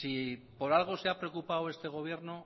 si por algo se ha preocupado este gobierno